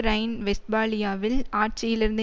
Rhine வெஸ்ட்பாலியாவில் ஆட்சியிலிருந்து